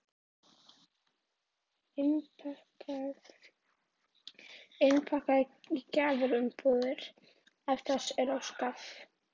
Hér er nú ekki mikið að gera svona dagsdaglega.